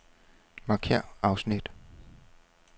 Markér afsnit.